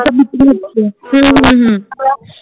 হুম হুম হুম